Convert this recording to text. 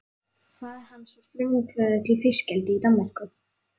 Faðir hans var frumkvöðull í fiskeldi í Danmörku.